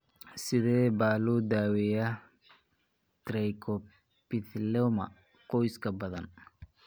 Sidee baa loo daweeyaa trichoepitheloma qoyska badan?